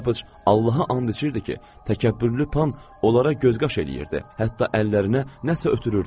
Pataç Allaha and içirdi ki, təkəbbürlü pan onlara göz qaş eləyirdi, hətta əllərinə nəsə ötürürdü.